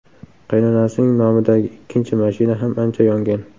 Qaynonasining nomidagi ikkinchi mashina ham ancha yongan.